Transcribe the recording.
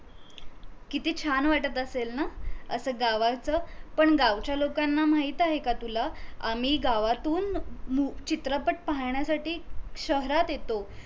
किती छान वाटत असेल ना असा गावाचं पण गावच्या लोकांना माहित आहे का तुला आम्ही गावातून चित्रपट पाहण्यासाठी शहरात येतो